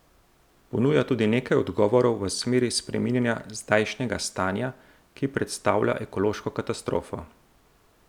Ponuja tudi nekaj odgovorov v smeri spreminjanja zdajšnjega stanja, ki predstavlja ekološko katastrofo.